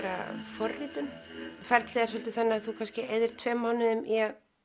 forritun ferlið er svolítið þannig að þú kannski eyðir tveimur mánuðum í að